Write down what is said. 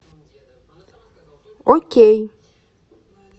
окей